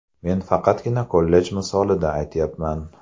Men faqatgina kollej misolida aytyapman.